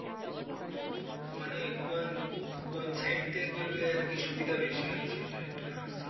মানে কোন কোন site দিয়ে করলে আর কি সুবিধা বেশি হয় সেইটা একটু জানার ছিল।